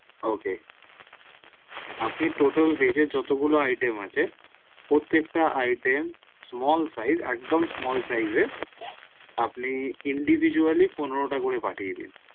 ok আপনি total veg যতগুলো iteam আছে প্রত্যেকটা iteam small size একদম small size এর আপনি individually পনেরোটা করে পাঠিয়ে দিন